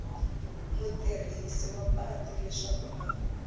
mutirhisi wa patu leswaku a